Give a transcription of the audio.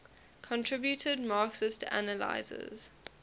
contributed marxist analyses